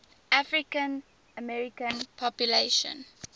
african american population